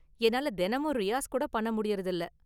என்னால தினமும் ரியாஸ் கூட பண்ணமுடியுறது இல்ல.